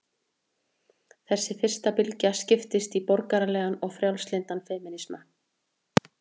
Þessi fyrsta bylgja skiptist í borgaralegan og frjálslyndan femínisma.